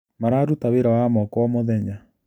Mararuta wĩra wa moko o mũthenya.